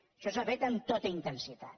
això s’ha fet amb tota intensitat